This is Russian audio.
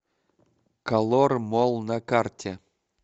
колор молл на карте